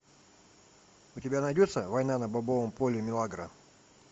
у тебя найдется война на бобовом поле милагро